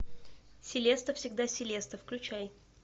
селеста всегда селеста включай